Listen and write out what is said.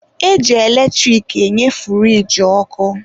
E ji eletrik enye furiji ọkụ.